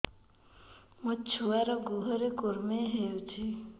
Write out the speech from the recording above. ମୋ ଛୁଆର୍ ଗୁହରେ କୁର୍ମି ହଉଚି